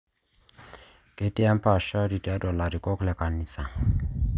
Ketii empaashari tiatua ilakikok le kanisa